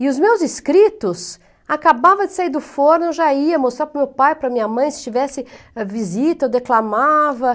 E os meus escritos acabavam de sair do forno, eu já ia mostrar para o meu pai, para minha mãe, se tivesse visita, eu declamava.